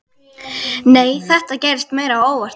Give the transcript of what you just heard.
Nei, þetta gerðist meira óvart.